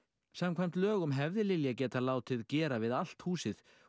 samkvæmt lögum hefði Lilja getað látið gera við allt húsið og